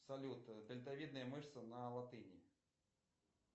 салют дельтовидная мышца на латыни